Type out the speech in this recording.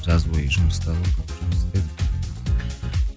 жаз бойы жұмыста болдым жұмыс істедім